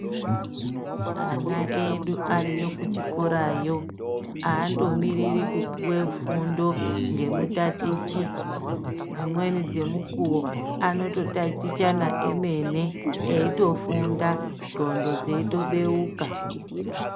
Ana edu ariyo kuchikorayo aandomiriri kupuwe fundo ngemutatichi dzimweni dzemukuwo anototatichana emene eitofunda ndhlondo dzeitobeuka.